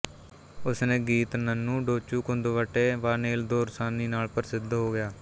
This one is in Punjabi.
ਉਸ ਨੇ ਗੀਤ ਨੰਨੂ ਡੋਚੂਕੁੰਦੁਵਟੇ ਵਾਨੇਲ ਦੋਰਸਾਨੀ ਨਾਲ ਪ੍ਰਸਿੱਧ ਹੋ ਗਿਆ